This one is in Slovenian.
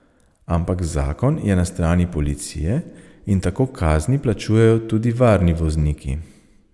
Ampak zakon je na strani policije in tako kazni plačujejo tudi varni vozniki.